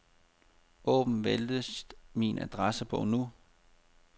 Åbn venligst min adressebog nu.